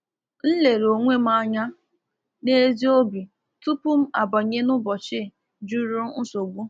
M lere onwe m anya n’ezi obi tupu m abanye n'ụbọchị juru nsogbu.